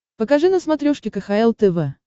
покажи на смотрешке кхл тв